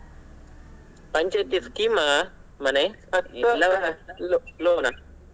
ಪಂಚಾಯತಿ scheme ಆ ಮನೆ lo~ loan ಆ?